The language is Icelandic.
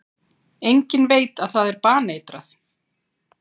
Enginn veit að það er baneitrað.